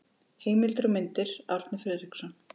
Heimildir og myndir: Árni Friðriksson.